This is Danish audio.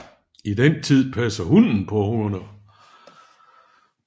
I den tid passer hunnen på ungerne